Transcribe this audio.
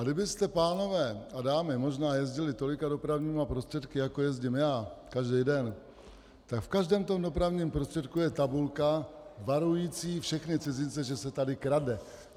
A kdybyste, pánové a dámy, možná jezdili tolika dopravními prostředky, jako jezdím já každý den, tak v každém tom dopravním prostředku je tabulka varující všechny cizince, že se tady krade.